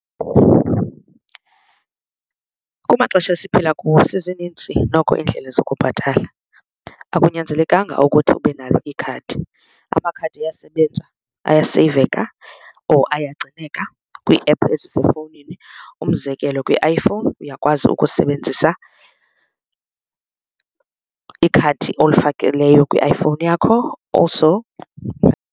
Kumaxesha esiphila kuwo sezininzi noko iindlela zokubhatala akunyanzelekanga ukuthi ube nalo ikhadi. Amakhadi ayasebenza ayaseyiveka or iyagcineka kwiiephu ezisefowunini, umzekelo kwi-iPhone uyakwazi ukusebenzisa ikhadi olifakileyo kwifowuni yakho, also.